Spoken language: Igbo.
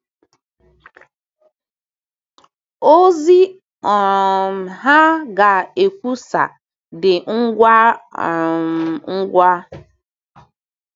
Ozi um ha ga-ekwusa dị ngwa um ngwa.